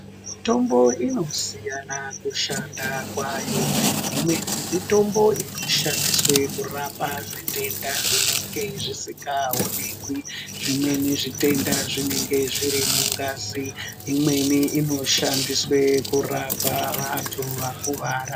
Mitombo inosiyana kushanda kwayo ,imweni mitombo inoshandiswa kurapa zvitenda zvinenge zvisingaoneki, Zvmweni zvitenda zvibenge zviri mungazi ,imweni inoshandiswa kurapa vanthu vakuwara.